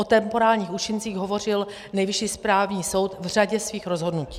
O temporálních účincích hovořil Nejvyšší správní soud v řadě svých rozhodnutí.